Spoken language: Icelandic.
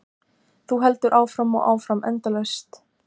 Þú heldur áfram og áfram, endalaust.